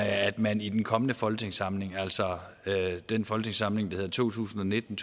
at man i den kommende folketingssamling altså den folketingssamling der hedder to tusind og nitten